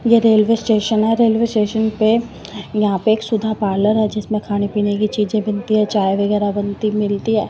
ये railway station है railway station पे यहां पे एक सुधा पार्लर है जिसमें खाने पीने की चीजें बनती है चाय वगैरा बनती मिलती है।